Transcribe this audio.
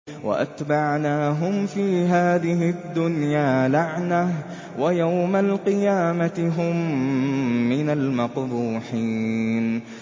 وَأَتْبَعْنَاهُمْ فِي هَٰذِهِ الدُّنْيَا لَعْنَةً ۖ وَيَوْمَ الْقِيَامَةِ هُم مِّنَ الْمَقْبُوحِينَ